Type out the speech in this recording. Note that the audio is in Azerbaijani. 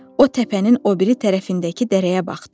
O təpənin o biri tərəfindəki dərəyə baxdı.